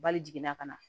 Bali jiginna ka na